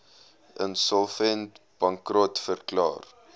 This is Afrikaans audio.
insolvent bankrot verklaar